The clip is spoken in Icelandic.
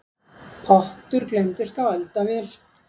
Pottur gleymdist á eldavél